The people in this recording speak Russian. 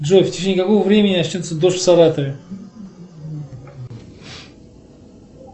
джой в течении какого времени начнется дождь в саратове